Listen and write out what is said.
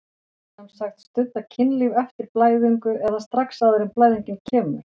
Sem sagt stunda kynlíf eftir blæðingu eða strax áður en blæðingin kemur?